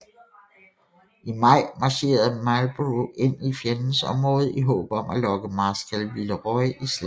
I maj marcherede Marlborough ind i fjendens område i håb om at lokke Marskal Villeroi i slag